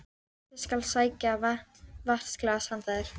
Ég skal sækja vatnsglas handa þér